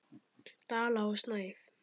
Dala og Snæf.